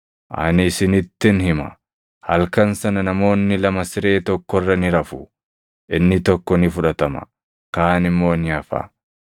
Ani isinittin hima; halkan sana namoonni lama siree tokko irra ni rafu; inni tokko ni fudhatama; kaan immoo ni hafa.